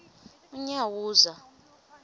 unyawuza